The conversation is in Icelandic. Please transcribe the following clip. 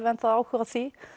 enn þá áhuga á því